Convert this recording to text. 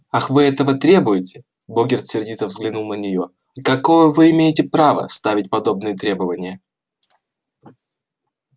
ах вы этого требуете богерт сердито взглянул на неё а какое вы имеете право ставить подобные требования